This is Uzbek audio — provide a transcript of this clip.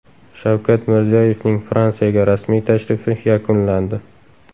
Shavkat Mirziyoyevning Fransiyaga rasmiy tashrifi yakunlandi.